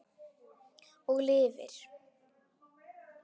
Og lifir.